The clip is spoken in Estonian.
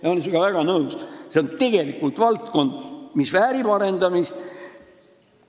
Aga olen väga nõus, et see on tegelikult valdkond, mis väärib arendamist.